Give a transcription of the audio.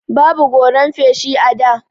Babu goran feshi a da.